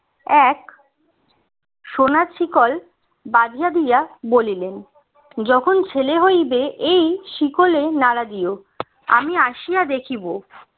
এক সোনার শিকল বাঁধিয়া দিয়া বলিলেন যখন ছেলে হইবে এই শিকলে নাড়া দিও আমি আসিয়া দেখিব